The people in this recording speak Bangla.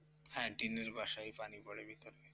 হ্যাঁ টিনের বাসায় পানি পড়ে ভিতরে,